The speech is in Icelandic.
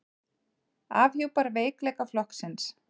Afhjúpar veikleika flokksins